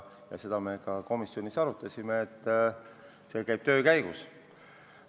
Seda me ka komisjonis arutasime, see käib töö käigus.